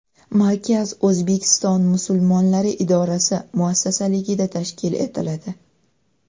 Markaz O‘zbekiston musulmonlari idorasi muassisligida tashkil etiladi.